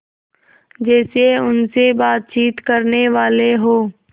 जैसे उनसे बातचीत करनेवाले हों